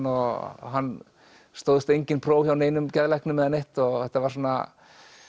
og hann stóðst engin próf hjá neinum geðlæknum eða neitt og þetta var svona